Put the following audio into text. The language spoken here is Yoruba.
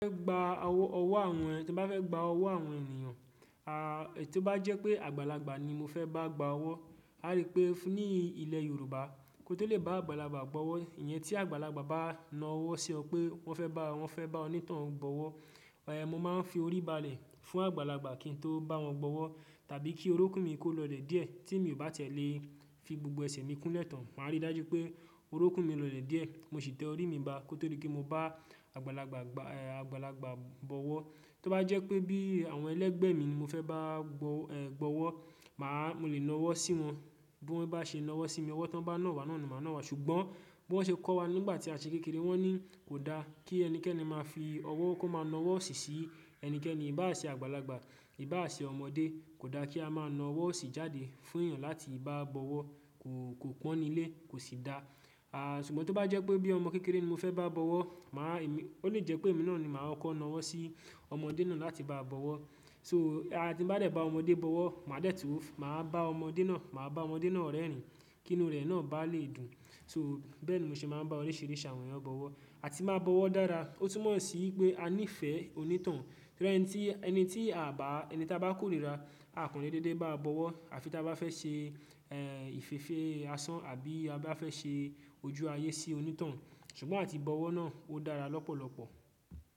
Fẹ́ gba owó ọwọ́ àwọn ẹ̀-- tí mo bá fẹ́ gba owó àwọn ènìyàn, à, è tó bá jẹ́ pé àgbàlagbà ni mo fẹ́ bá gba owó, a rí pé ní ilẹ̀ Yorùbá kó tó lè bá àgbàlagbà gbọ́wọ́, ìyẹn tí àgbàlagbà bá na ọwọ́ sí ọ pé wọ́n fẹ́ bá-- wọ́n fẹ́ bá oní tohun gbọ́wọ́, e mo máa ń fi orí balẹ̀ fún àgbàlagbà kí n tó bá wọn gbọ́wọ́ tàbí kí orókún mi kó lọ̀lẹ̀ díẹ̀ tí mi ò bá tiẹ̀ lè fi gbogbo ẹsẹ̀ mi kún lẹ́ tàn. Màá rí dájú pé orókún mi lọ̀lẹ̀ díẹ̀, mo sì tẹ orí mi ba kó tó di pe mo bá àgbàlagbà gba, à, àgbàlagbà bọ́wọ́. Tó bá jẹ́ pé bí àwọn ẹlẹ́gbẹ̀ mi ni mo fẹ́ bá gbo, è, gbọ́wọ́, màá-- mo lè na ọwọ́ sí wọn bí wọ́n bá ṣe na ọwọ́ sí mi. Ọwọ́ tán bá nà wá náà ni màá nà wá. Ṣùgbọ́n bí wọ́n ṣe kọ́ wa nígbà tí a ṣe kékeré, wọ́n ní kò da kí ẹnikẹ́ni máa fi ọwọ́ kó máa na ọwọ́ osí sí ẹnikẹ́ni i bá à ṣe àgbàlagbà, i bá à ṣe ọmọdé. Kò da kí a máa na ọwọ́ osí jáde fún èèyàn láti báa gbọ́wọ́. Kò, kò pọ́n nílé, kò sì da. À, ṣùgbọ́n tó bá jẹ́ pé bí ọmọ kékeré ni mo fẹ́ báa gbọ́wọ́, màá èmí-- ó lè jẹ́ pé èmi náà ni màá kọ́ko na ọwọ́ sí ọmọdé náà láti báa gbọ́wọ́. So a ti n bá dẹ́ ba ọmọdé bọ́wọ́, màá dẹ́ẹ̀ tun-- màá bá ọmọdé náà, màá bá ọmọdé náà rẹ́rìn-ín kí inú rẹ̀ náà bá lè dùn. So, bẹ́ẹ̀ ni mo ṣe máa ń bá oríṣìíríṣi àwọn ènìyàn bọ́wọ́, a tì máa bọ́wọ́ dára. Ó tún mọ̀ sí wipé a nífẹ̀ẹ́ oní tohun. Re ẹni tí, ẹni tí a bá, ẹni ta bá kórìíra, akọ́n le dédé báa bọ́wọ́ àfi ta bá fẹ́ ṣe, ẹ́ẹ́, ìfefe asán àbí a bá fẹ́ ṣe ojú ayé sí onítohun. Ṣùgbọ́n àti bọ́wọ́ náà ó dára lọ́pọ̀lọ́pọ̀.